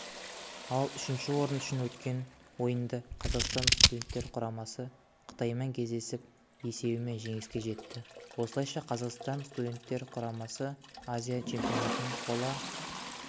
ал үшінші орын үшін өткен ойында қазақстан студенттер құрамасы қытаймен кездесіп есебімен жеңіске жетті осылайша қазақстан студенттер құрамасы азия чемпионатының қола